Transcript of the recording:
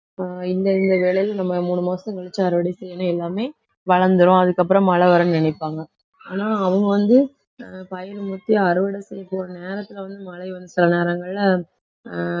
இந்த இந்த வேளையில நம்ம மூணு மாசம் கழிச்சு அறுவடை செய்யணும் எல்லாமே வளர்ந்திரும் அதுக்கப்புறம் மழை வரும்ன்னு நினைப்பாங்க. ஆனா அவங்க வந்து ஆஹ் பயிர் முத்தி அறுவடை செய்ய போற நேரத்தில வந்து மழை வந்த சில நேரங்கள்ல ஆஹ்